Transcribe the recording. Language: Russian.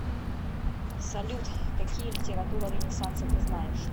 салют какие литература ренессанса ты знаешь